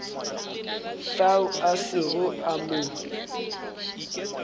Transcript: fao a sego a mo